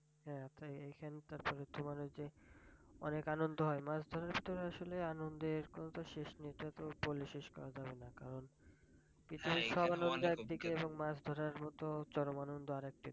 হ্যাঁ এইখান তারপর তোমার ওই যে অনেক আনন্দ হয় মাছ ধরার ক্ষেত্রে আসলে আনন্দের কথা শেষ নেই তা বলে শেষ করা যাবে না কারণ পৃথিবীর সব আনন্দ একদিকে মাছ ধরার মত চরম আনন্দ আরেকদিকে